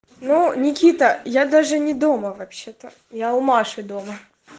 ну никита я даже не дома вообще-то я у маши дома